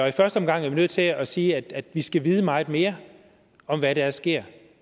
i første omgang er vi nødt til at sige at vi skal vide meget mere om hvad der sker